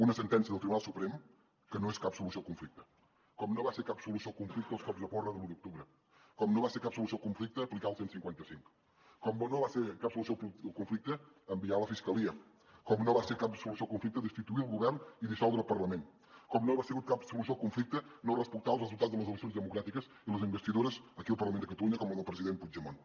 una sentència del tribunal suprem que no és cap solució al conflicte com no van ser cap solució al conflicte els cops de porra de l’u d’octubre com no va ser cap solució al conflicte aplicar el cent i cinquanta cinc com no va ser cap solució al conflicte enviar la fiscalia com no va ser cap solució al conflicte destituir el govern i dissoldre el parlament com no ha sigut cap solució al conflicte no respectar els resultats de les eleccions democràtiques i les investidures aquí al parlament de catalunya com la del president puigdemont